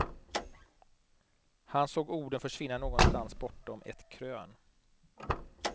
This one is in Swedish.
Han såg orden försvinna någonstans bortom ett krön.